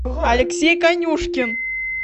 алексей конюшкин